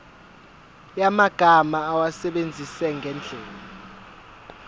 yamagama awasebenzise ngendlela